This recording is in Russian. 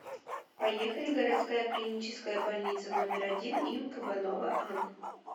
поехали городская клиническая больница номер один им кабанова ан